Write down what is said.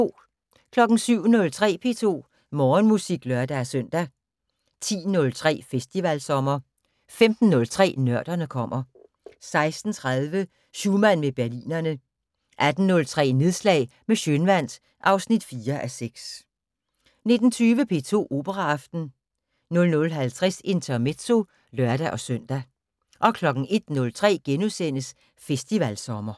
07:03: P2 Morgenmusik (lør-søn) 10:03: Festivalsommer 15:03: Nørderne kommer 16:30: Schumann med Berlinerne 18:03: Nedslag med Schønwandt (4:6) 19:20: P2 Operaaften 00:50: Intermezzo (lør-søn) 01:03: Festivalsommer *